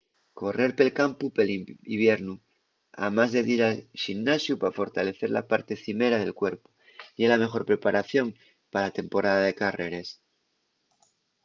correr pel campu pel iviernu amás de dir al ximnasiu pa fortalecer la parte cimera del cuerpu ye la meyor preparación pa la temporada de carreres